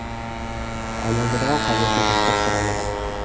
айналдырған қазіргі жастар сарайы ғана